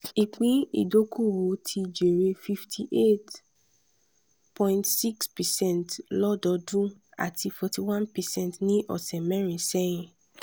ìpín ìdókòwò ti jèrè fifty eight point six percent lọ́dọọdún àti forty one percent ní ọ̀sẹ̀ mẹ́rin sẹ́yìn.